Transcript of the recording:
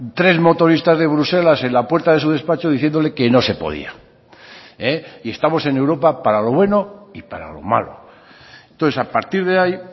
tres motoristas de bruselas en la puerta de su despacho diciéndole que no se podía y estamos en europa para lo bueno y para lo malo entonces a partir de ahí